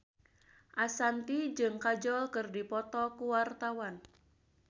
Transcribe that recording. Ashanti jeung Kajol keur dipoto ku wartawan